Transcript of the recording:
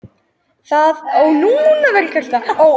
Og það nægði ekki henni sjálfri.